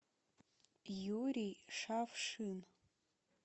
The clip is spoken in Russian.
юрий шавшин